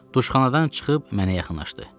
Duşxanadan çıxıb mənə yaxınlaşdı.